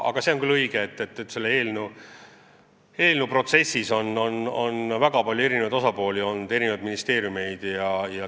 Aga see on küll õige, et selle eelnõuga seotud protsessis on osalenud väga palju osapooli, sh mitu ministeeriumi.